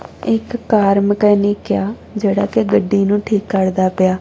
ਇੱਕ car mechanic ਏ ਆ ਜਿਹੜਾ ਕਿ ਗੱਡੀ ਨੂੰ ਠੀਕ ਕਰਦਾ ਪਿਆ।